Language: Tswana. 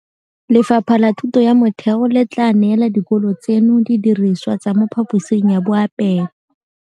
Lefapha la Thuto ya Motheo le tla neela dikolo tseno didirisiwa tsa mo phaposing ya boapeelo.